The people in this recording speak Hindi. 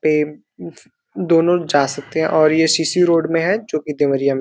पेम दोनों जा सकते हैं और ये सी सी रोड में है जो कि देवरिया में --